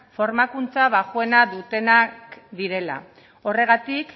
formakuntza baxuena dutenak direla horregatik